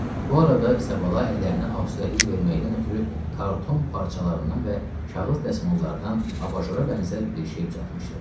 Bu arada İsabala əllərinə auustəlik verməkdən ötrü karton parçalarından və kağız dəsmallardan abajora bənzər bir şey düzəltmişdi.